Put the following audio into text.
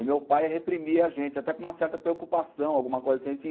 E meu pai reprimia a gente, até com uma certa preocupação, alguma coisa assim. a gente